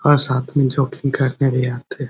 और साथ में जॉगिंग करने भी आते है।